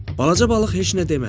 Balaca balıq heç nə demədi.